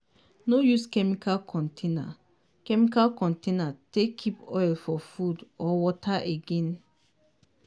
no use chemical container chemical container take keep oil for food or water again.